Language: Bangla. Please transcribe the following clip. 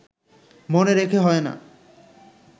মনে রেখে হয় না